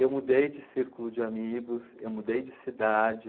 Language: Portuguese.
Eu mudei de círculo de amigos, eu mudei de cidade.